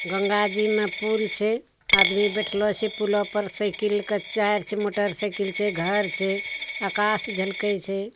गंगा जी में पुल छे। आदमी बैठेलो छे पुलवा पर साइकिल का चार्च मोटरसाइकिल छे घर छे। आकाश झलकई छे।